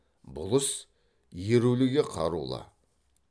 бұл іс еруліге қарулы